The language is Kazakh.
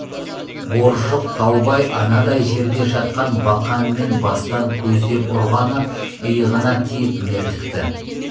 боржық таубай анадай жерде жатқан бақанмен бастан көздеп ұрғаны иығына тиіп мертікті